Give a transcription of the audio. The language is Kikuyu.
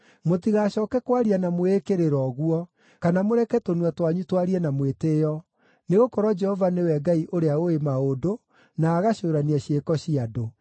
“Mũtigacooke kwaria na mwĩĩkĩrĩro ũguo kana mũreke tũnua twanyu twarie na mwĩtĩĩo, nĩgũkorwo Jehova nĩwe Ngai ũrĩa ũũĩ maũndũ, na agacũũrania ciĩko cia andũ.